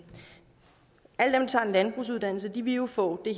landbrugsuddannelse vil jo få det